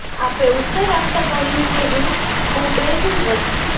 આપે ઉત્તર આપતા કહ્યું કે હું ખુબૈબ રદિ